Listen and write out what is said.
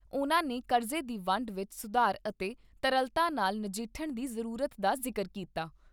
ਉਨ੍ਹਾਂ ਨੇ ਕਰਜ਼ੇ ਦੀ ਵੰਡ ਵਿਚ ਸੁਧਾਰ ਅਤੇ ਤਰਲਤਾ ਨਾਲ ਨਜਿੱਠਣ ਦੀ ਜ਼ਰੂਰਤ ਦਾ ਜ਼ਿਕਰ ਕੀਤਾ।